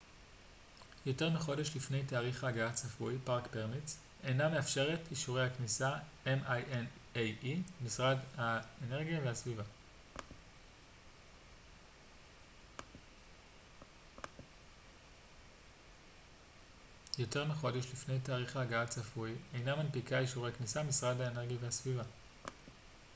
משרד האנרגיה והסביבה minae אינה מנפיקה אישורי כניסה park permits יותר מחודש לפני תאריך ההגעה הצפוי